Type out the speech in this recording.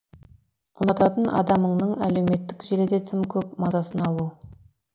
ұнататын адамыңның әлеуметтік желіде тым көп мазасын алу